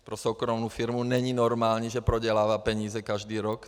Pro soukromou firmu není normální, že prodělává peníze každý rok.